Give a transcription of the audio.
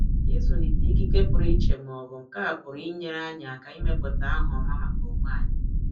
Ịzulite ikike puru iche ma ọ bụ nkà pụrụ inyere anyị aka ịmepụta aha ọma maka onwe anyị.